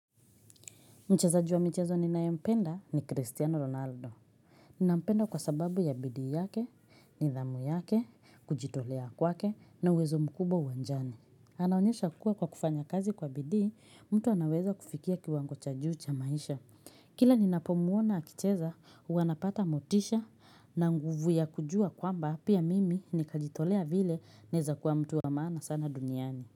Mchezaji wa michezo ninaye mpenda ni Cristiano Ronaldo. Nampenda kwa sababu ya bidii yake, nidhamu yake, kujitolea kwake na uwezo mkubwa uwanjani. Anaonyesha kuwa kwa kufanya kazi kwa bidii, mtu anaweza kufikia kiwango cha juu cha maisha. Kila nina pomuona akicheza, uwanapata motisha na nguvu ya kujua kwamba pia mimi ni kajitolea vile naeza kuwa mtu wa maana sana duniani.